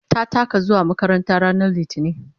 ta taka zuwa makaranta ranar litini